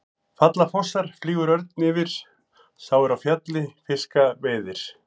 Falla fossar, flýgur örn yfir, sá er á fjalli fiska veiðir.